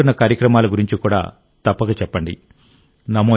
మీరు పాల్గొంటున్న కార్యక్రమాల గురించి కూడా తప్పక చెప్పండి